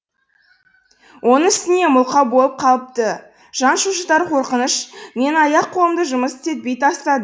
оның үстіне мылқау болып қалыпты жан шошытар қорқыныш менің аяқ қолымды жұмыс істетпей тастады